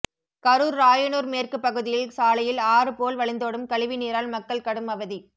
கரூர் ராயனூர் மேற்கு பகுதியில் சாலையில் ஆறு போல் வழிந்தோடும் கழிவுநீரால் மக்கள் கடும் அவதி